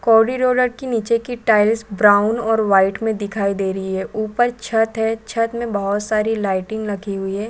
कोडिडोलर की निचे की टाइल्स ब्राउन और वाइट में दिखाई दे रही है ऊपर छत है छत में बहुत सारी लाइटिंग रखी हुई है।